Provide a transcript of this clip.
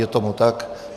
Je tomu tak.